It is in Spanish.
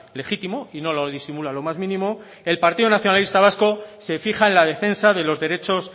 legítimo y no lo disimula lo más mínimo el partido nacionalista vasco se fija en la defensa de los derechos